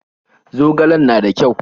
Zogalen na da ƙyau?